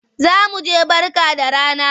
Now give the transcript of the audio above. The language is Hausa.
Za mu je Barka da rana.